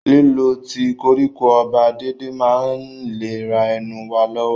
Lílo tíì koríko ọba déédéé máa ń ìlera ẹnu wa lọ́wọ́.